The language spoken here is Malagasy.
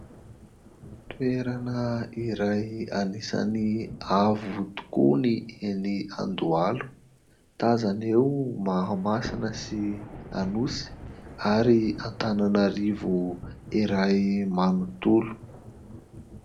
Toerana iray anisany avo tokoa ny eny Andohalo. Tazana eo Mahamasina sy Anosy ary Antananarivo iray manontolo.